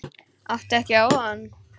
Átti ég ekki á von?